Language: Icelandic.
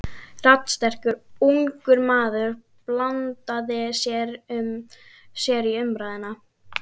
Raddsterkur, ungur maður blandaði sér í umræðuna.